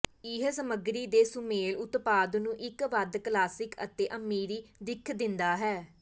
ਇਹ ਸਮੱਗਰੀ ਦੇ ਸੁਮੇਲ ਉਤਪਾਦ ਨੂੰ ਇੱਕ ਵੱਧ ਕਲਾਸਿਕ ਅਤੇ ਅਮੀਰੀ ਦਿੱਖ ਦਿੰਦਾ ਹੈ